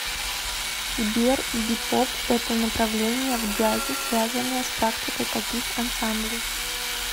сбер бипоп это направление в джазе связанное с практикой каких ансамблей